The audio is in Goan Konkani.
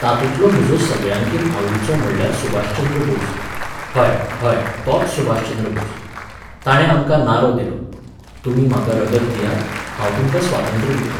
तातुंतलो म्हजो सगळ्यांकीन आवडीचो म्हणल्यार सुभाषचंद्र बोस. हय, हय, तोच सुभाषचंद्र बोस. ताणे आमकां नारो दिलो, तुमी म्हाका रगत दियात, हांव तुमकां स्वातंत्र्य दितलों.